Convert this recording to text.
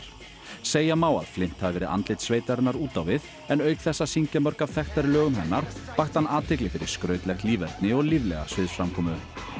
segja má að Flint hafi verið andlit sveitarinnar út á við en auk þess að syngja mörg af þekktari lögum hennar vakti hann athygli fyrir skrautlegt líferni og líflega sviðsframkomu